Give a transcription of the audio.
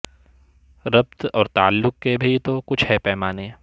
ربط اور تعلق کے بھی تو کچھ ہے پیمانے